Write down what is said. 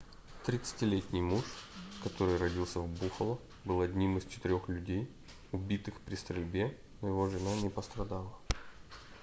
30-ти летний муж который родился в буффало был одним из четырёх людей убитых при стрельбе но его жена не пострадала